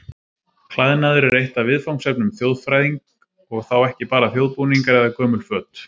Klæðnaður er eitt af viðfangsefnum þjóðfræðing og þá ekki bara þjóðbúningar eða gömul föt.